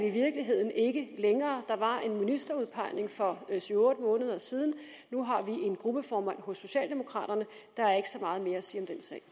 i virkeligheden ikke længere der var en ministerudpegning for syv otte måneder siden nu har vi en gruppeformand hos socialdemokraterne der er ikke så meget mere at sige